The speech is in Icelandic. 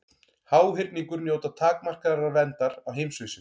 Háhyrningur njóta takmarkaðrar verndar á heimsvísu.